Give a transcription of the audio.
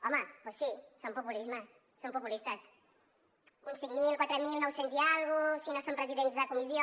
home doncs sí són populistes uns cinc mil quatre mil nou cents i escaig si no són presidents de comissió